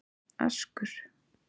Askur